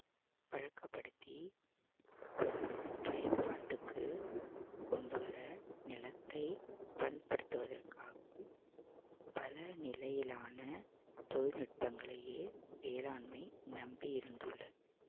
பழக்கப்படுத்தி பயன்பாட்டுக்கு கொண்டு வர நிலத்தை பண்படுத்துவதற்காகவும் பல நிலையிலான தொழில்நுட்பங்களையே வேளாண்மை நம்பி இருந்துள்ளது